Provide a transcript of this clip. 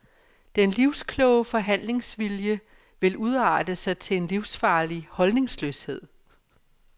Den livskloge forhandlingsvilje vil udarte sig til en livsfarlig holdningsløshed.